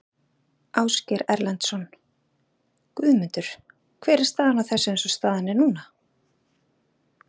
Ásgeir Erlendsson: Guðmundur hver er staðan á þessu eins og staðan er núna?